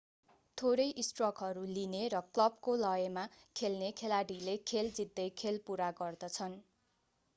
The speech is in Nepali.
थोरै स्ट्रकहरू लिने र क्लबको लयमा खेल्ने खेलाडीले खेल जित्दै खेल पुरा गर्दछन्